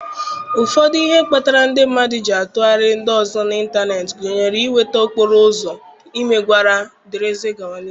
Ụfọdụ ihe kpatara ndị mmadụ ji atụgharị ndị ọzọ n'ịntanetị gụnyere inweta okporo ụzọ, imegwara, wdg.